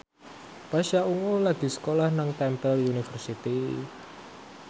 Pasha Ungu lagi sekolah nang Temple University